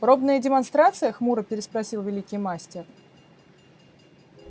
пробная демонстрация хмуро переспросил великий мастер